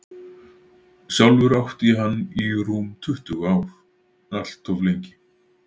Sjálfur átti ég hann í rúm tuttugu ár, allt of lengi.